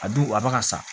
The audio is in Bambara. A dun a ba ka sa